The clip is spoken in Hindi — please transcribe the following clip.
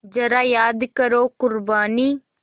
ज़रा याद करो क़ुरबानी